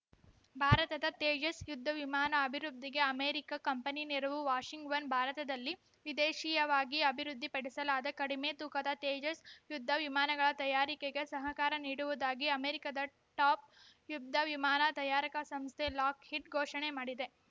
ಭಾರತದ ತೇಜಸ್‌ ಯುದ್ಧ ವಿಮಾನ ಅಭಿವೃದ್ಧಿಗೆ ಅಮೆರಿಕ ಕಂಪನಿ ನೆರವು ವಾಷಿಂಗ್ಟನ್‌ ಭಾರತದಲ್ಲಿ ವಿದೇಶೀಯವಾಗಿ ಅಭಿವೃದ್ಧಿಪಡಿಸಲಾದ ಕಡಿಮೆ ತೂಕದ ತೇಜಸ್‌ ಯುದ್ಧ ವಿಮಾನಗಳ ತಯಾರಿಕೆಗೆ ಸಹಕಾರ ನೀಡುವುದಾಗಿ ಅಮೆರಿಕದ ಟಾಪ್‌ ಯುದ್ಧ ವಿಮಾನ ತಯಾರಕ ಸಂಸ್ಥೆ ಲಾಕ್‌ಹೀಡ್‌ ಘೋಷಣೆ ಮಾಡಿದೆ